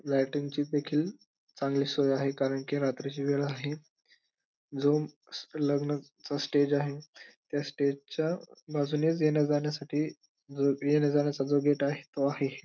Lighting देखील चांगली सोय आहे कारण की रात्रीची वेळ आहे जो स लग्न चा स्टेज आहे त्या स्टेजच्या बाजूनेच येण्या जाण्यासाठी जो येण्या जाण्याचा जो गेट घेत आहे तो आहे.